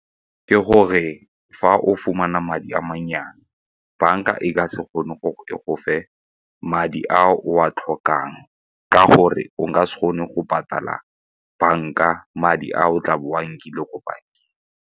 Ke gore fa o fumana madi a mannyane, banka e ka se kgone go e go fe madi a o a tlhokang ka gore o ka se kgone go patala banka madi a o tla bo o a nkile ko bankeng.